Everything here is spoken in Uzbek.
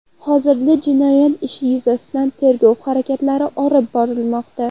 Hozirda jinoyat ishi yuzasidan tergov harakatlari olib borilmoqda.